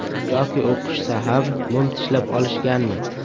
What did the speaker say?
Yoki o‘qishsa ham mum tishlab olishganmi?